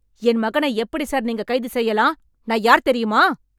என் மகனை எப்படி சார் நீங்க கைது செய்யலாம்? நான் யார் தெரியுமா?